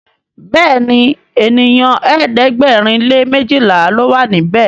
Béèni ènìyàn ẹ̀ẹ́dẹ̀gbẹ̀rin lè mejila ló wà níbè.